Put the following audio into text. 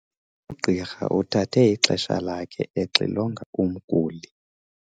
Ugqirha uthathe ixesha lakhe exilonga umguli.